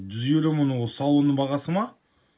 жүз елу мың ол салонның бағасы ма